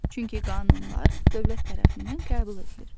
Çünki qanunlar dövlət tərəfindən qəbul edilir.